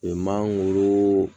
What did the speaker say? Mangoro